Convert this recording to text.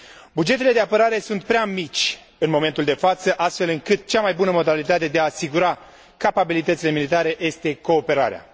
Bugetele de apărare sunt prea mici în momentul de față, astfel încât cea mai bună modalitate de a asigura capabilitățile militare este cooperarea.